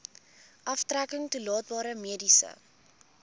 aftrekking toelaatbare mediese